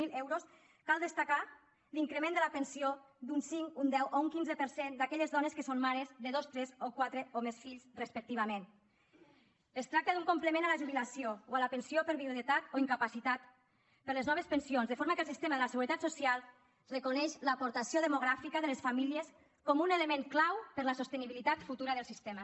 zero euros cal destacar l’increment de la pensió d’un cinc un deu o un quinze per cent d’aquelles dones que són mares de dos tres o quatre o més fills respectivament es tracta d’un complement a la jubilació o a la pensió per viudetat o incapacitat per a les noves pensions de forma que el sistema de la seguretat social reconeix l’aportació demogràfica de les famílies com un element clau per a la sostenibilitat futura del sistema